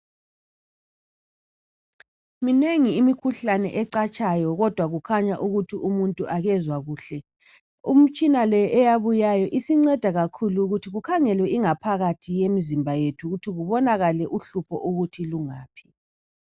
Minengi imikhuhlane ecatshayo kodwa kukhanya ukuthi umuntu akezwa kuhle imitshina le eyabuyayo isinceda kakhulu ukuthi kukhangelwe ingaphakathi yemizimba yethu ukuthi kubonakale uhlupho ukuthi lungaphi.